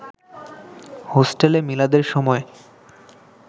হোস্টেলে মিলাদের সময়